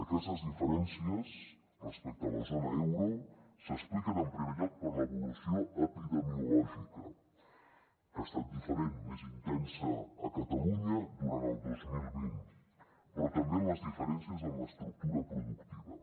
aquestes diferències respecte a la zona euro s’expliquen en primer lloc per l’evolució epidemiològica que ha estat diferent més intensa a catalunya durant el dos mil vint però també en les diferències en l’estructura productiva